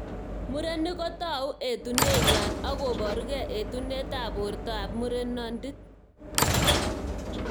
Murenik kotou etunenywa ak koborukei etunet ab borto ab murenondit.